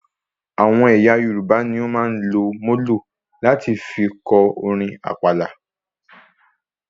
Àwọn ẹyà Yorùbá ní o máa ń lò molo láti fí kọ orin àpàlà